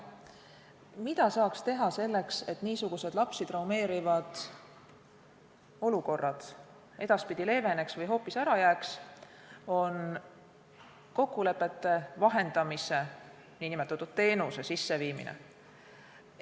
See, mida saaks teha selleks, et niisugused lapsi traumeerivad olukorrad edaspidi leeveneks või hoopis ära jääks, on kokkulepete vahendamise teenuse sisseviimine.